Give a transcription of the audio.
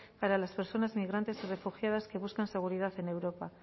para las personas migrantes y refugiadas que buscan seguridad en europa